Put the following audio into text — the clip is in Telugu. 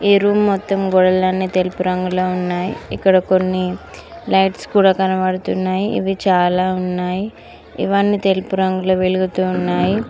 ఈ రూమ్ మొత్తం గోడలన్నీ తెలుపు రంగులో ఉన్నాయి ఇక్కడ కొన్ని లైట్స్ కూడా కనపడుతున్నాయి ఇవి చాలా ఉన్నాయి ఇవన్నీ తెలుపు రంగులో వెలుగుతూ ఉన్నాయి.